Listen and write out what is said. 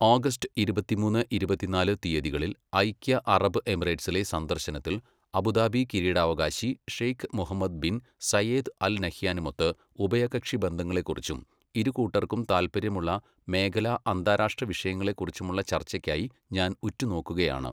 August ഇരുപത്തിമൂന്ന്, ഇരുപത്തിനാല് തീയ്യതിളിൽ ഐക്യ അറബ് എമിറേറ്റ്സിലെ സന്ദർശന ത്തിൽ അബുദാബി കിരീടാവകാശി Sheikh Mohammed bin Zayed Al നഹ്യാനുമൊത്ത് ഉഭയകക്ഷി ബന്ധങ്ങളെക്കുറിച്ചും, ഇരുകൂട്ടർക്കും താല്പര്യമുള്ള മേഖലാ, അന്താരാഷ്ട്ര വിഷയങ്ങളെക്കുറിച്ചുമുള്ള ചർച്ചയ്ക്കായി ഞാൻ ഉറ്റുനോക്കുകയാണ്.